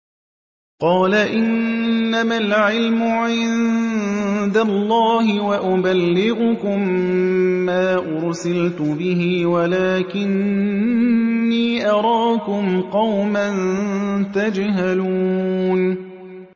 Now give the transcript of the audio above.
قَالَ إِنَّمَا الْعِلْمُ عِندَ اللَّهِ وَأُبَلِّغُكُم مَّا أُرْسِلْتُ بِهِ وَلَٰكِنِّي أَرَاكُمْ قَوْمًا تَجْهَلُونَ